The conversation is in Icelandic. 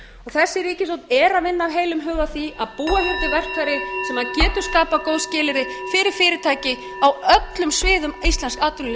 þessi ríkisstjórn er að vinna af heilum hug að því að búa hér til verkfæri sem betur níu skapað